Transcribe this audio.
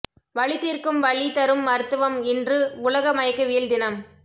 வலி தீர்க்கும் வழி தரும் மருத்துவம் இன்று உலக மயக்கவியல் தினம்